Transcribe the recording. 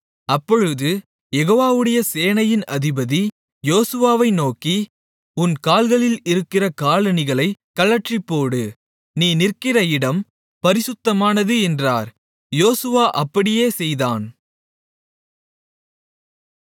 அப்பொழுது யெகோவாவுடைய சேனையின் அதிபதி யோசுவாவை நோக்கி உன் கால்களில் இருக்கிற காலணிகளைக் கழற்றிப்போடு நீ நிற்கிற இடம் பரிசுத்தமானது என்றார் யோசுவா அப்படியே செய்தான்